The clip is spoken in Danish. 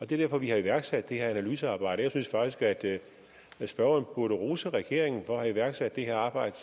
det er derfor vi har iværksat det her analysearbejde jeg synes faktisk at spørgeren burde rose regeringen for at have iværksat det her arbejde